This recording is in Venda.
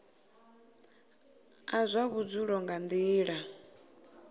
a zwa vhudzulo nga nila